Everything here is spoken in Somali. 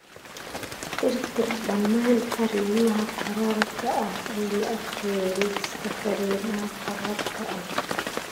tirtir dhammaan fariimaha qoraalka ah ee la akhriyay liiska fariimaha qoraalka ah.